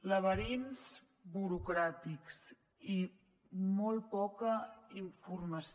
laberints burocràtics i molt poca informació